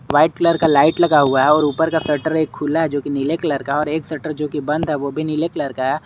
White colour का light लगा हुआ है और ऊपर का शटर एक खुला है जोकि नीले कलर का है एक शटर जोकि बंद है वो भी नीले कलर का है।